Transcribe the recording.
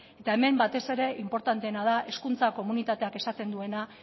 hemen batez ere inportanteena da hezkuntza komunitateak esaten duena